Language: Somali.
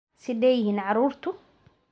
Sideey yihin carruurtu?